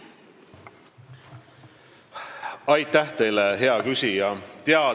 Aitäh teile, hea küsija!